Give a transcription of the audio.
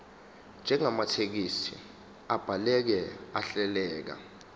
njengamathekisthi abhaleke ahleleka